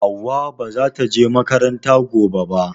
Hauwa ba zata je makaranta gobe ba